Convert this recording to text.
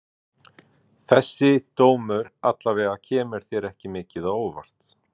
Þessi dómur alla vega kemur þér ekki mikið á óvart?